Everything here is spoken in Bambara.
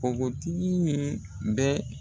Npogotigi in bɛ